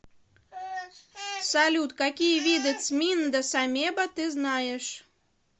салют какие виды цминда самеба ты знаешь